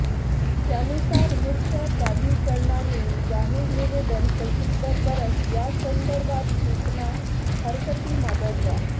त्यानुसार वृक्ष प्राधिकरणाने जाहीर निवेदन प्रसिद्ध करत यासंदर्भात सूचना हरकती मागवल्या